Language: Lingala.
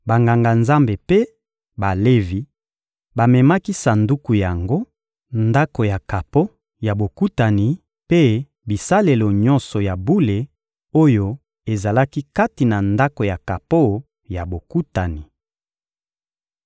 Banganga-Nzambe mpe Balevi bamemaki Sanduku yango, Ndako ya kapo ya Bokutani mpe bisalelo nyonso ya bule oyo ezalaki kati na Ndako ya kapo ya Bokutani.